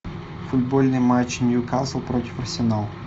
футбольный матч ньюкасл против арсенала